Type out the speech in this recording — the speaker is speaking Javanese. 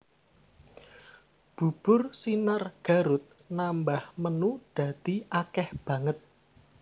Bubur Sinar Garut nambah menu dadi akeh banget